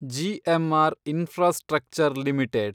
GMR Infrastructure limited